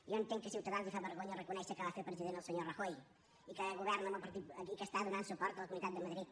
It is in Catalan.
jo entenc que a ciutadans li fa vergonya reconèixer que va fer president el senyor rajoy i que està donant suport a la comunitat de madrid